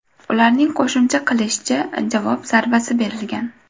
Ularning qo‘shimcha qilishicha, javob zarbasi berilgan.